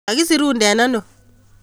Kakisiruden ano?